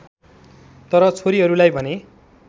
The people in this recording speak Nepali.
तर छोरीहरूलाई भने